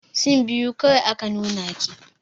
Sin biyu kawai aka nuna ki.